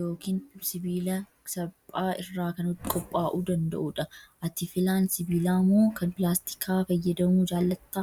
yookiin sibiila salphaa irraa kan qophaa'uu danda'udha. Ati filaan sibiilaa moo kan pilaastikaa fayyadamuu jaallattaa?